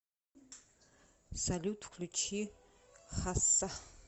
салют включи хасса